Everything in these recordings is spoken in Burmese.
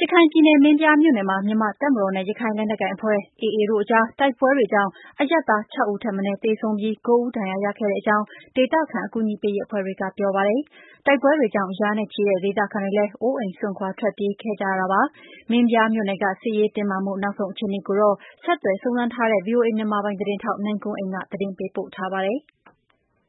ရခိုင်ပြည်နယ် မင်းပြားမြို့နယ်မှာ မြန်မာ့တပ်မတော်နဲ့ ရခိုင်လက်နက်ကိုင်တပ်ဖွဲ့ AA တို့ကြား တိုက်ပွဲတွေကြောင့် အရပ်သား ခြောက် ဦးထက် မနည်း သေဆုံးပြီး ကိုး ဦး ဒဏ်ရာရခဲ့ကြောင်း ဒေသခံ အကူအညီပေးရေး အဖွဲ့တွေက ပြောပါတယ်။ တိုက်ပွဲတွေကြောင့် ရာနဲ့ချီတဲ့ ဒေသခံတွေလည်း အိုးအိမ်စွန့်ခွာ ထွက်ပြေးခဲ့ကြရတာပါ။ မင်းပြားမြို့နယ်က စစ်ရေးတင်းမာမှု နောက်ဆုံး အခြေအနေကိုတော့ ဆက်သွယ် စုံစမ်းထားတဲ့ ဗွီအိုအေ မြန်မာပိုင်း သတင်းထောက် နိုင်ကွန်းအိန်က သတင်းပေးပို့ထားပါတယ်။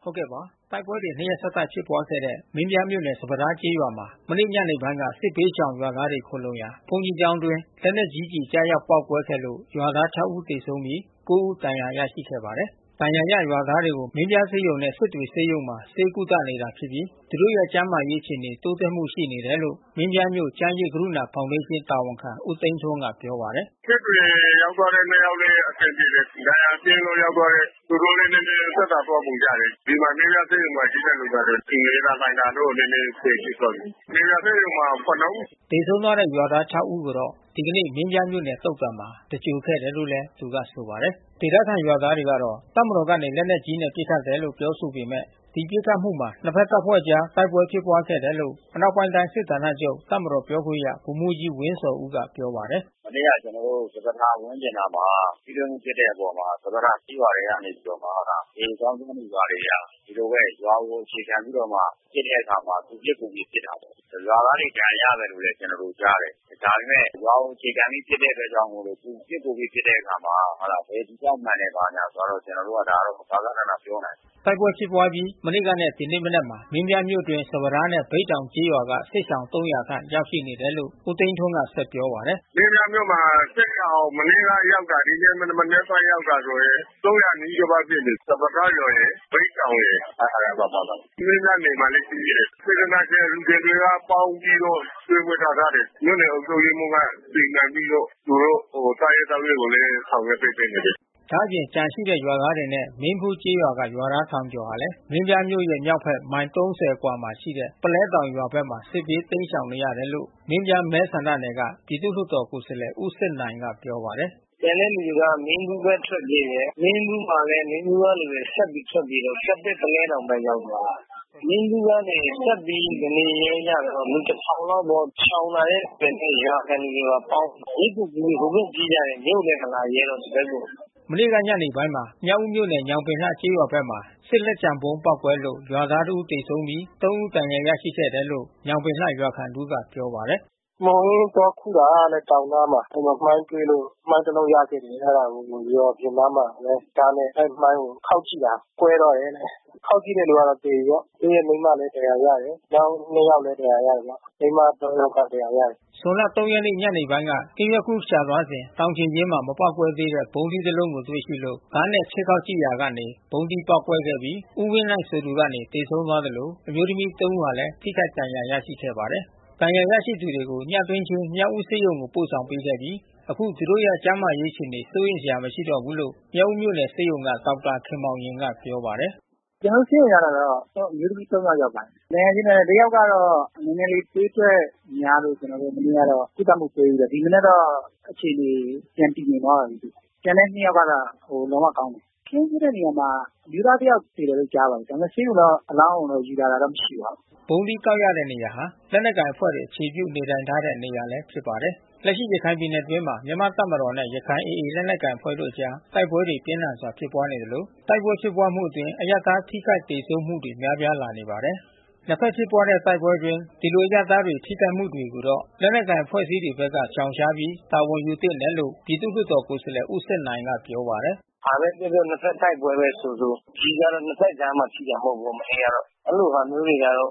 တိုက်ပွဲတွေ နှစ်ရက်ဆက်တိုက်ဖြစ်ပွါးခဲ့တဲ့ မင်းပြားမြို့နယ် စပါးထားကျေးရွာမှာ မနေ့ညနေပိုင်းက စစ်ဘေးရှောင်ရွာသားတွေ ခိုလှုံရာ ဘုန်းကြီးကျောင်းအတွင်း လက်နက်ကြီး ကျည်ကျရောက် ပေါက်ကွဲခဲ့လို့ ရွာသား ခြောက်ဦး သေဆုံးပြီး ကိုး ဦး ဒဏ်ရာရရှိခဲ့ပါတယ်။ ဒဏ်ရာရရွာသားတွေကို မင်းပြားဆေးရုံနဲ့ စစ်တွေ ဆေးရုံမှာ ဆေးကုသနေတာဖြစ်ပြီး သူတို့ရဲ့ ကျန်းမာရေးအခြေအနေ တိုးတက်မှုရှိနေတယ်လို့ မင်းပြားမြို့ ကျန်းရိပ်ကရုဏာ ဖေါင်ဒေးရှင်း တာဝန်ခံဦးသိန်းထွန်းက ပြောပါတယ်။ “စစ်တွေရောက်သွားတဲ့ နှစ် ယောက်လည်း အဆင်ပြေတယ်။ ဒဏ်ရာပြင်းလို့ ရောက်သွားတဲ့ သူတို့လည်းနည်းနည်း သက်သာသွားပုံရတယ်။ ဒီမှာ မင်းပြားဆေးရုံမှာ ရှိတဲ့ လူနာတွေ နေသာခိုင်စာတော့ နည်းနည်းအဆင့်ရှိသွားပြီ။ မင်းပြား ဆေးရုံမှာ ခုနစ် ဦး။ သေဆုံးသွားတဲ့ ရွာသား ခြောက် ဦး ကိုတော့ ဒီကနေ့ မင်းပြားမြို့သုသာန်မှာ သင်္ဂြိုလ်ခဲ့တယ်လို့ သူကဆိုပါတယ်။ ဒေသခံရွာသားတွေက တပ်မတော်ကနေ လက်နက်ကြီးနဲ့ ပစ်ခတ်တယ်လို့ ပြောဆိုနေပေမဲ့ ဒီပစ်ခတ်မှုမှာ နှစ်ဘက်တပ်ဖွဲ့ အကြား တိုက်ပွဲဖြစ်ပွားခဲ့တယ်လို့ အနောက်ပိုင်းတိုင်း စစ်ဌာနချုပ်တပ်မတော်ပြောခွင့်ရ ဗိုလ်မှူးကြီးဝင်းဇော်ဦးက ပြောပါတယ်။ “မနေ့က ကျနော်တို့စပါးထားဝန်းကျင်နားမှာ ထိတွေ့မှုဖြစ်တဲ့အပေါ်မှာ စပါးထားကျေးရွာထဲကနေပြီးတော့မှ AA သောင်းကျန်းသူ တွေဟာ ရွာကိုအခြေခံပြီး ပစ်တဲ့အခါမှာ သူပစ်ကိုယ်ပစ် ပစ်ပါတယ်။ ရွာသားတွေ ဒဏ်ရာရတယ်လို့လည်း ကျနော်တို့ ကြားပါတယ်။ ဒါပေမဲ့ ရွာကိုအခြေခံပြီး ပစ်တဲ့အတွက်ကြောင့်မို့လို့ သူပစ်ကိုယ်ပစ်တဲ့အခါမှာ ဘယ်သူကြောင့် မှန်တယ်ဆိုတာ ဘာညာဆိုတာတော့ ကျနော်တို့က ဂဃနဏ မပြောနိုင်ဘူး။” တိုက်ပွဲဖြစ်ပွါးအပြီး မနေ့ကနဲ့ဒီကနေမနက်မှာ မင်းပြားမြို့အတွင်း စပါးထားနဲ့ ဘိတ်တောင်ကျေးရွာက စစ်ရှောင် ခန့် ရောက်ရှိနေတယ်လို့ ဦးသိန်းထွန်းက ဆက်ပြောပါတယ်။ “မင်းပြားမြို့မှာစစ်ရှောင် မနေ့ကရောက်တာ ဒီနေ့မနက်ပိုင်းရောက်တာဆိုရင် နီးပါးဖြစ်နေပြီး။ စပါးထားရယ်။ ဘိတ်တောင်ရယ်။ အဲတာပါပါတယ်။ မင်းပြားနယ်မှာလည်းရှိသေးတယ်။ စေတနာရှင်အလှူရှင်တွေကပေါင်းပြီးတော့ ကျွေး မွေးထားထားတယ်။ မြို့နယ်အုပ်ချုပ်ရေးမှူးကစီမံပြီးတော့ သူတို့စားရေးသောက်ရေးကိုလည်း ဆောင်ရွက်ပေးနေတယ်။ ဒါ့အပြင် ကျန်ရှိတဲ့ရွာသားတွေနဲ့ မင်းဖူးကျေးရွာကရွာသား ထောင်ကျော်ဟာလည်း မင်းပြားမြို့ရဲ့မြောက်ဘက်မိုင် အကွာခန့်မှာရှိတဲ့ပုလဲတောင်ရွာဘက်မှာ စစ်ဘေးတိမ်းရှောင်နေရတယ်လို့ မင်းပြားမဲဆန္ဒနယ်က ပြည်သူ့ လွှတ်တော် ကိုယ်စားလှယ်ဦးစစ်နိုင်ကပြောပါတယ်။ “ကျန်တဲ့လူတွေကလည်း မင်းဖူးဘက် ထွက်ပြေးတယ်။ မင်းဖူးမှာလည်း မင်းဖူးက လူတွေဆက်ပြီး ထွက်ပြေးပြီးတော့ ကက်သစ် ပုလဲတောင် ဘက်ရောက်သွားတယ်။ မင်းဖူးကနေဆက်ပြီး မနေရဲကြတော့ လူ လောက်ပေါ့။ ရှောင်လာတဲ့လူတွေနဲ့ ရွာခံလူတွေနဲ့ပေါင်း မြစ်ကိုကူး ဟိုဘက်ပြေးကြတယ်။ မြို့လည်းမလာရဲ ဒီဘက်ကို။ မနေ့က ညနေပိုင်းမှာ မြောက်ဦးမြို့နယ် ညောင်ပင်လှကျေးရွာဘက်မှာ စစ်လက်ကျန် ဗုံးပေါက်ကွဲလို့ ရွာသားတဦး သေဆုံးပြီး သုံး ဦး ဒဏ်ရာ ရရှိခဲ့တယ်လို့ ညောင်ပင်လှရွာခံ တဦးက ပြောပါတယ်။ “မှှိုဟင်း သွားခုူးတာတဲ့တောင်နားမှာ။ အဲဒီမှာမိုင်းတွေ့လို့ မိုင်းတလုံး ရခဲ့တယ်။ အဲတာကို ရွာအပြင်နားမှာပဲ ဒါးနဲ့ အဲဒီမိုင်းကို ခေါက်ကြည့်တာ ကွဲသွားတယ်တဲ့။ ခေါက်ကြည့်တဲ့ သူကသေပြီပေါ့။ သူ့ရဲ့မိန်းမလည်း ဒဏ်ရာရတယ်။ မိန်းမ သုံး ယောက်က ဒဏ်ရာရတယ်။” ဇွန်လ ၃ ရက်နေ့၊ ညနေပိုင်းက ဟင်းခူးရှာသွားစဉ် တောင်ခြေရင်းမှာ မပေါက်ကွဲသေးတဲ့ ဗုံးသီးတလုံးကိုတွေ့ရှိလို့ ဒါးနဲ့ ခြစ်ခေါက်ကြည့်ရာကနေ ဗုံးသီးပေါက်ကွဲခဲ့ပြီး ဦးဝင်းနိုင်ဆိုသူကနေ သေဆုံးသွားသလို အမျိုးသမီး သုံးဦးလည်း ထိခိုက်ဒဏ်ရာ ရရှိခဲ့ပါတယ်။ ဒဏ်ရာရရှိသူတွေကို ညတွင်းချင်းမြောက်ဦးဆေးရုံသို့ ပို့ဆောင်ပေးခဲ့ပြီး အခုသူတို့ရဲ့ ကျန်းမာရေး အခြေအနေ စိုးရိမ်စရာမရှိတော့ဘူးလို့ မြောက်ဦးမြို့နယ်ဆေးရုံက ဒေါက်တာခင်မောင်ရင်က ပြောပါတယ်။ “ကျနော်တို့ ဆေးရုံရောက်တာတော့ အမျိုးသမီး သုံး ယောက် ရောက်ပါတယ်။ ဒဏ်ရာပြင်းထန်တဲ့ တယောက်ကတော့ နည်းနည်းလေး သွေးထွက်များလို့ ကျနော်တို့ မနေ့ကတော့ ကုသမှုပေးပြီးတော့ ဒီမနက်ကတော့ အခြေအနေ ပြန်တည်ငြိမ်သွားပါပြီး။ ကျန်တဲ့ နှစ် ယောက်ကတော့ လုံးဝကောင်းတယ်။ အခင်းဖြစ်တဲ့နေရာမှာ အမျိုးသား တယောက် သေတယ်လို့ ကြားပါတယ်။ ဒါပေမဲ့ဆေးရုံတော့ အလောင်းကိုတော့ ယူလာတာတော့ မရှိပါဘူး။” ဗုံးသီးကောက်ရတဲ့ နေရာဟာ လက်နက်ကိုင်အဖွဲ့တွေ အခြေပြုနေထိုင်ထားတဲ့ နေရာလည်း ဖြစ်ပါတယ်။ လက်ရှိ ရခိုင်ပြည်နယ်အတွင်းမှာ မြန်မာ့တပ်မတော်နဲ့ ရခိုင် AA လက်နက်ကိုင်အဖွဲ့တို့ အကြားတိုက်ပွဲတွေ ပြင်းထန်စွာ ဖြစ်ပွားနေသလို တိုက်ပွဲဖြစ်ပွားမှုအတွင်း အရပ်သား ထိခိုက်သေဆုံးမှုတွေ များပြားလာနေပါတယ်။ နှစ်ဘက်ဖြစ်ပွားတဲ့ တိုက်ပွဲအတွင်း ဒီလိုအရပ်သားတွေ ထိခိုက်မှုတွေကိုတော့ လက်နက်ကိုင် အဖွဲ့အစည်းတွေဘက်က ရှောင်ရှားပြီး တာဝန်ယူသင့်တယ်လို့ ပြည်သူ့ လွှတ်တော်ကိုယ်စားလှယ် ဦးစစ်နိုင်က ပြောပါတယ်။ “ဘာဘဲဖြစ်ဖြစ်။ နှစ်ဘက်တိုက်ပွဲပဲ ဆိုဆို။ ကျည်က နှစ်ဘက်ကြားမှာ ထိတာမဟုတ်ဘူး မနေ့က။ အဲဒီလိုဟာမျိုးတွေကတော့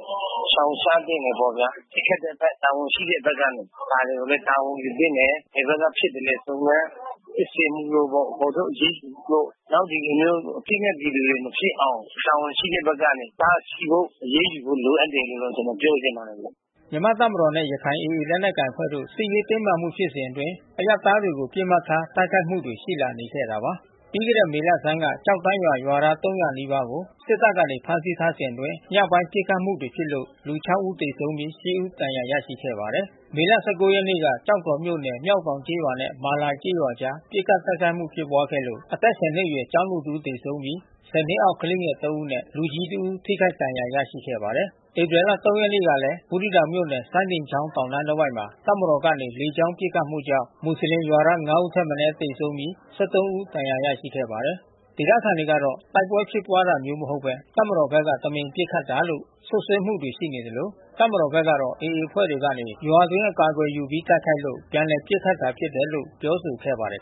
ရှောင်ရှားသင့်တယ်ပေါ့ဗျာ။ ပစ်ခတ်တဲ့ဘက် တာဝန်ရှိတဲ့ဘက်ကနေ ဒါတွေကိုလည်း တာဝန်ယူသင့်တယ်။ ဘယ်ဘက် ကဖြစ်သလဲ စုံစမ်းစစ်ဆေးမှုတို့ပေါ့။ ဖေါ်ထုတ်အရေးယူဖို့ နောက်ဒီလိုမျိုး အပစ်မဲ့ပြည်သူတွေ မဖြစ်အောင် တာဝန်ရှိတဲ့ဘက်ကနေ တားဆီးဖို့ အရေးယူဖို့ လိုအပ်တယ်လို့ ကျနော် ပြောချင်ပါတယ်။” မြန်မာ့တပ်မတော်နဲ့ ရခိုင် AA လက်နက်ကိုင်အဖွဲ့တို့ စစ်ရေးတင်းမာမှုဖြစ်စဉ်အတွင်း အရပ်သားတွေကို ပစ်မှတ်ထား တိုက်ခိုက်မှုတွေ ရှိလာနေခဲ့တာပါ။ ပြီးခဲ့တဲ့မေလဆန်းက ကျောက်တန်းရွာရွာသား ၃၀၀ နီးပါးကို စစ်တပ်က ဖမ်းထားစဉ်အတွင်း ညပိုင်း ပစ်ခတ်မှုတွေဖြစ် လို့ လူ ခြောက် ဦးသေဆုံးပြီး ရှစ် ဦး ဒဏ်ရာ ရခဲ့ပါတယ်။ မေလ ၁၉ ကျောက်တော်မြို့နယ် မျောက်တောင်ကျေးရွာနဲ့ မာလာကျေးရွာကြား ပစ်ခတ် တိုက်ခိုက်မှု ဖြစ်ပွားခဲ့လို့ အသက် ဆယ် နှစ်အရွယ် ကျောင်းသူတဦး သေဆုံးပြီး ဆယ် နှစ်အောက် ကလေးငယ် သုံး ဦးနဲ့ လူကြီးတဦးထိခိုက် ဒဏ်ရာ ရရှိခဲ့ပါတယ်။ ဧပြီလ ၃ ရက်နေ့ကလည်း ဘူးသီးတောင်မြို့နယ် စိုင်းဒင်ချောင်းတောင်တန်းတဝိုက်မှာ တပ်မတော်ကနေ လေကြောင်း ပစ်ခတ်မှုကြောင့် မွတ်ဆလင်ရွာသား ငါး ဦးထက် မနည်းသေဆုံးခဲ့ပြီး ၁၃ ဦး ဒဏ်ရာ ရရှိခဲ့ပါတယ်။ ဒေသခံတွေကတော့ တိုက်ပွဲဖြစ်ပွားတာမျိုး မဟုတ်လည်း တပ်မတော်ဘက်က တမင်ပစ်ခတ်တာလို့ စွပ်စွဲမှုတွေ ရှိနေသလို တပ်မတော်ဘက်ကတော့ AA အဖွဲ့ကနေ ရွာအတွင်း အကာကွယ်ယူပြီး တိုက်ခိုက်လို့ ပြန်လည်ပစ်ခတ်တာ ဖြစ်တယ်လို့ ပြောဆိုခဲ့ပါတယ်